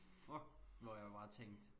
Fuck hvor jeg bare tænkte